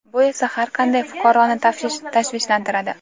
Bu esa har qanday fuqaroni tashvishlantiradi.